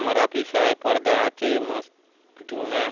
आमर ऑफिस आय पर्दा आछे मस्त --